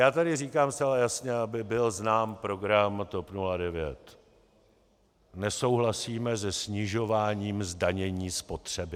Já tady říkám zcela jasně, aby byl znám program TOP 09: Nesouhlasíme se snižováním zdanění spotřeby.